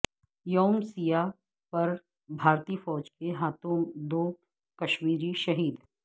یوم سیاہ پر بھارتی فوج کے ہاتھوں دو کشمیری شہید